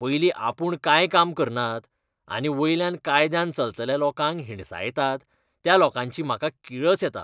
पयलीं आपूण कांय काम करनात, आनी वयल्यान कायद्यान चलतल्या लोकांक हिणसायतात त्या लोकांची म्हाका किळस येता.